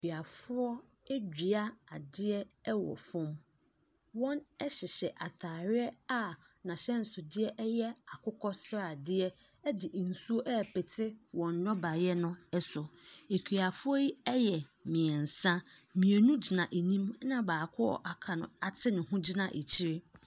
Akuafoɔ adua adeɛ wɔ fam. Wɔhyehyɛ atareɛ a n'ahyɛnsodeɛ yɛ akokɔ sradeɛ de nsuo repete wɔn nnɔbaeɛ no so. Akuafoɔ yi yɛ mmeɛnsa. Mmienu gyina anim, ɛnna baako a waka no ate ne ho gyina akyire.